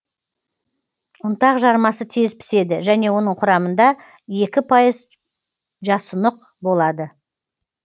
ұнтақ жармасы тез піседі және оның құрамында екі пайыз жасұнық болады